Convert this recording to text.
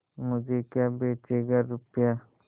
मुझे क्या बेचेगा रुपय्या